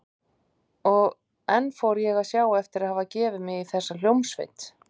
Og enn fór ég að sjá eftir að hafa gefið mig í þessa hljómsveit.